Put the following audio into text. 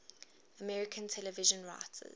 american television writers